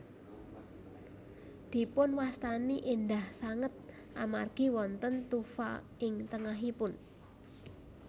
Dipunwastani éndah sanget amargi wonten tufa ing tengahipun